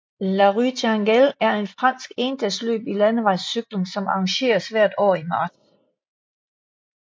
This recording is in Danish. La Roue Tourangelle er et fransk endagsløb i landevejscykling som arrangeres hvert år i marts